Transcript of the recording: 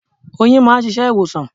Oyin máa ń ṣiṣẹ́ ìwòsàn.